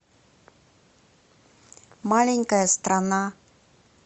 маленькая страна